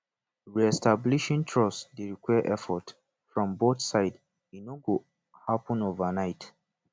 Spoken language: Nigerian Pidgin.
reestablishing trust dey require effort from both sides e no go happen overnight